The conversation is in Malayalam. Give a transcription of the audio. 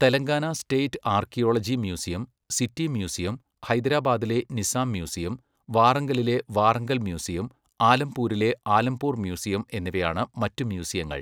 Telangana state archaeology museum, city museum, ഹൈദരാബാദിലെ നിസാം മ്യൂസിയം, വാറംഗലിലെ വാറംഗൽ മ്യൂസിയം, ആലംപൂരിലെ ആലംപൂർ മ്യൂസിയം എന്നിവയാണ് മറ്റ് മ്യൂസിയങ്ങൾ.